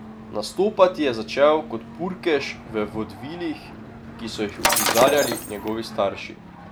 Nastopati je začel kot burkež v vodvilih, ki so jih uprizarjali njegovi starši.